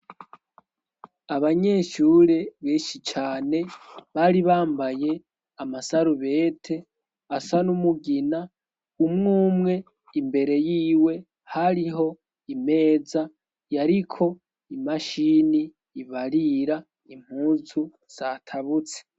abanyeshure benshi cane bari bambaye amasarubete asa n'umugina umwumwe imbere yiwe hariho imeza yariko imashini ibarira impuzu zatabutse